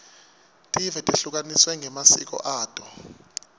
tive tehlukaniswe ngemasiko ato